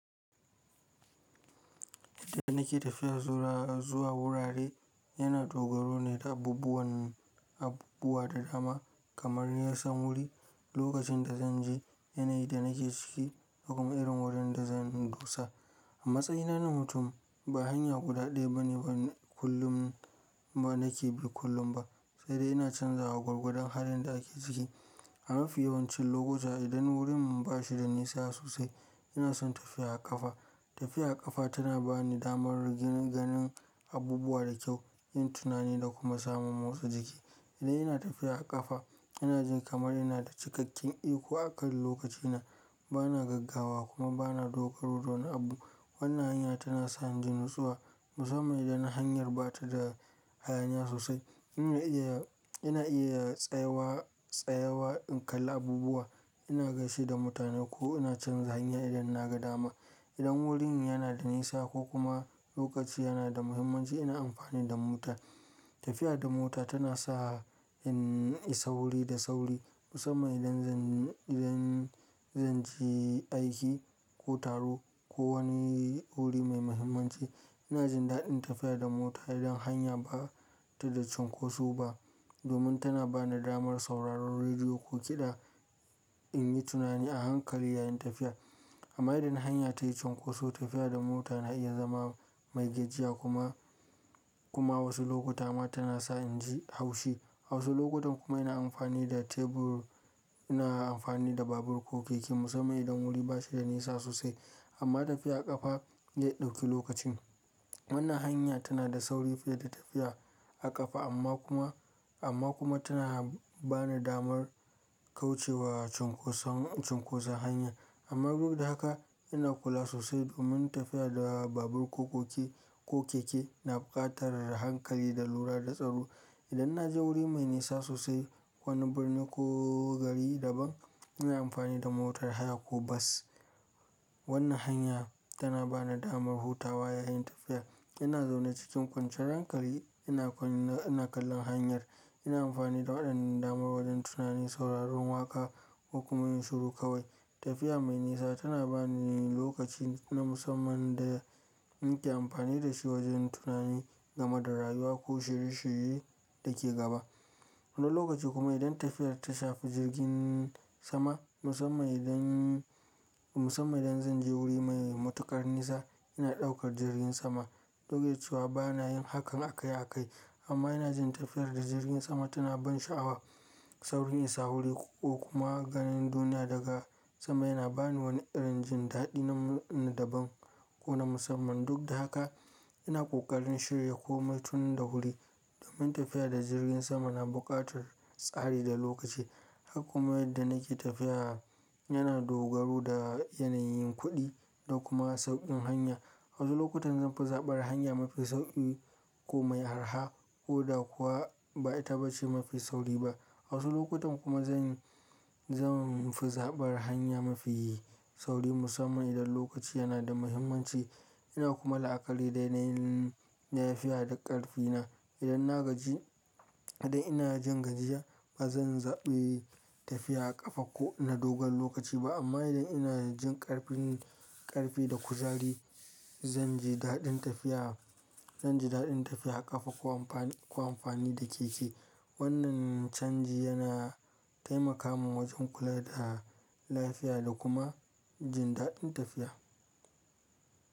Yadda nake tafiya zuwa wurare, yana dogaro ne da abubuwan abubuwa da dama kamar na san wuri lokacin da zan je, yanayin da nake ciki da kuma irin wurin da zan dosa. A matsayina na mutum ba hanya guda ɗaya bane ban kullum ba nake bi kullum ba, sai dai ina canzawa gwargwadon halin da ake ciki. A mafi yawancin lokuta idan wurin ba shi da nisa sosai ina son tafiya a ƙafa. Tafiya a ƙafa tana bani damar ganin abubuwa da kyau, yin tunani da kuma samun motsa jiki. Idan ina tafiya a ƙafa ina jin kamar ina da cikakken iko a kan lokacina, bana gaggawa kuma bana dogaro da wani abu. Wannan hanya tana sa inji natsuwa musamman idan hanyar ba ta da hayaniya sosai. Ina iya, ina iya tsayawa, tsayawa in kalli abubuwa, ina gaishe da mutane ko ina canza hanya idan na ga dama. Idan wurin yana da nisa ko kuma lokaci yana da muhimmanci ina amfani da mota. Tafiya da mota tana sa in yi sauri da sauri musamman idan zan, idan zan je aiki ko taro ko wani wuri mai muhimmanci. Ina jin daɗin tafiya da mota idan hanya ba ta da cunkoso ba domin tana bani damar sauraron rediyo ko kiɗa in yi tunani a hankali yayin tafiya. Amma idan hanya tayi cunkoso tafiya da mota na iya zama mai gajiya kuma, kuma wasu lokuta ma tana sa inji haushi. A wasu lokutan kuma ina amfani da tebur ina amfani da babur ko keke musamman idan wuri ba shi da nisa sosai amma tafiya a ƙafa ya ɗauki lokacin. Wannan hanya tana da sauri fiye da tafiya a ƙafa amma kuma, amma kuma tana ba ni damar kaucewa cunkoson, cunkoson hanya. Amma duk da haka ina kula sosai domin tafiya da babur ko keke na buƙatar hankali da lura da tsaro. Idan na je wuri mai nisa sosai, wani birni ko gari daban ina amfani da motar haya ko bas. Wannan hanya tana ba ni damar hutawa yayin tafiya. Ina zaune cikin kwanciyar hankali ina kalli hanyar. Ina amfani da waɗannan damar wajen tunani, sauraron waƙa ko kuma yin shiru kawai. Tafiya mai nisa tana ba ni lokaci na musamman da in ke amfani da shi wajen tunani game da rayuwa ko shirye shirye da ke gaba. Wani lokaci kuma idan tafiyar ta shafi jirgin sama musamman idan, musamman idan zan je wuri mai matuƙar nisa ina ɗaukar jirgin sama. Duk da cewa bana yin hakan akai akai amma ina jin tafiyar da jirgin sama tana ban sha'awa. Saurin isa wuri ko kuma ganin duniya daga sama yana ba ni wani irin jin daɗi na daban ko na musamman. Duk da haka ina ƙoƙarin shirya komai tun da wuri domin tafiya da jirgin sama na buƙatar tsari da lokaci. Haka kuma yadda nake tafiya yana dogaro da yanayin kuɗi da kuma sauƙin hanya. Wasu lokutan zan fi zaɓar hanya mafi sauƙi ko mai arha ko da kuwa ba ita ba ce mafi sauri ba. Wasu lokutan kuma zan, zan fi zaɓar hanya mafi sauri musamman idan lokaci yana da muhimmanci. Ina kuma la'akari da yanayin lafiya da ƙarfi na. Idan na gaji, idan ina jin gajiya ba zan zaɓi tafiya a ƙafa ko na dogon lokaci ba amma idan ina jin ƙarfin, ƙarfi da kuzari zan ji daɗin tafiya, zan ji daɗin tafiya a ƙafa ko amfani, ko amfani da keke. Wannan canji yana taimaka min wajen kula da lafiya da kuma jin daɗin tafiya.